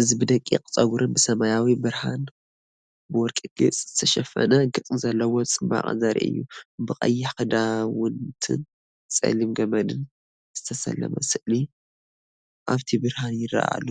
እዚ ብደቂቕ ጸጉርን ብሰማያዊ ብርሃን ብወርቂ ጌጽ ዝተሸፈነ ገጽ ዘለዎ ጽባቐ ዘርኢ እዩ። ብቐይሕ ክዳውንትን ጸሊም ገመድን ዝተሰለመ ስእሊ ኣብቲ ብርሃን ይረአ ኣሎ።